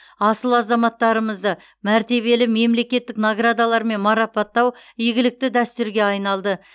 асыл азаматтарымызды мәртебелі мемлекеттік наградалармен марапаттау игілікті дәстүрге айналды